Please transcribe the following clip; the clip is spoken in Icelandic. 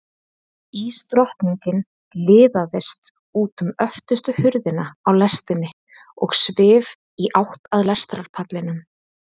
Ísdrottningin liðaðist út um öftustu hurðina á lestinni og svif í átt að lestarpallinum.